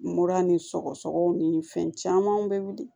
Mura ni sɔgɔsɔgɔw ni fɛn caman bɛ wuli